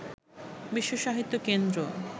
বিশ্ব সাহিত্য কেন্দ্র